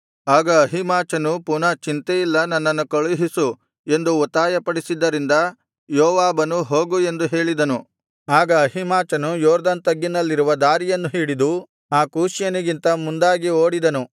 ಆಗ ಅಹೀಮಾಚನು ಪುನಃ ಚಿಂತೆಯಿಲ್ಲ ನನ್ನನ್ನು ಕಳುಹಿಸು ಎಂದು ಒತ್ತಾಯಪಡಿಸಿದ್ದರಿಂದ ಯೋವಾಬನು ಹೋಗು ಎಂದು ಹೇಳಿದನು ಆಗ ಅಹೀಮಾಚನು ಯೊರ್ದನ್ ತಗ್ಗಿನಲ್ಲಿರುವ ದಾರಿಯನ್ನು ಹಿಡಿದು ಆ ಕೂಷ್ಯನಿಗಿಂತ ಮುಂದಾಗಿ ಓಡಿದನು